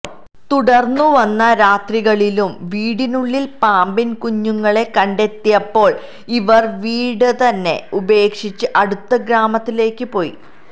തുടർന്നു വന്ന രാത്രികളിലും വീടിനുള്ളിൽ പാമ്പിൻ കുഞ്ഞുങ്ങളെ കണ്ടെത്തിയപ്പോൾ ഇവർ വീടുതന്നെ ഉപേക്ഷിച്ച് അടുത്ത ഗ്രാമത്തിലേക്ക് പോയി